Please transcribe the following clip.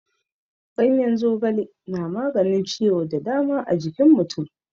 Ganyen zogale na maganin ciwo da dama a jikin mutum.